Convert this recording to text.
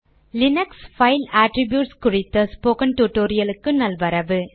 Linux file attributes குறித்த spoken டுடோரியலுக்கு நல்வரவு